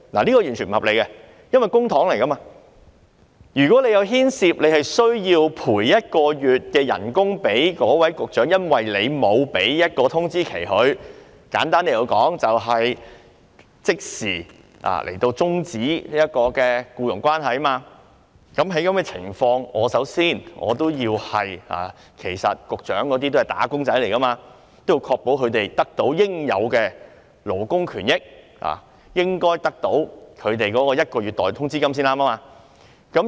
這是完全不合理的，因為這些是公帑，如果政府因沒有給他們一個月通知期而要賠償一個月代通知金，簡單來說就是如果政府即時終止僱傭關係，在這種情況下，其實這些局長都是"打工仔"，故我認為要確保他們得到應有的勞工權益，因而應該得到一個月代通知金。